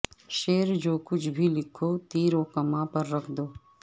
شعر جو کچھ بھی لکھو تیر و کماں پر رکھ دو